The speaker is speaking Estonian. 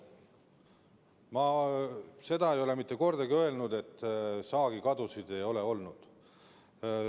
Ma ei ole mitte kordagi öelnud, et saagikadusid ei ole olnud.